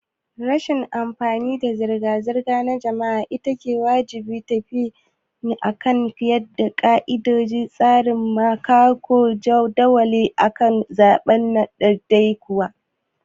Rashin amfanin zirga-zirgar jama'a ita ce wajibcin tafiya akan ƙayyadadden tsari maimakon jadawalin da aka zaɓa na ɗaiɗaiku.